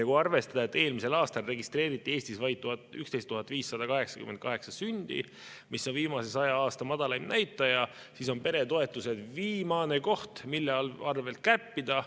Kui arvestada, et eelmisel aastal registreeriti Eestis vaid 11 588 sündi, mis on viimase saja aasta madalaim näitaja, siis on peretoetused viimane koht, mille arvel kärpida.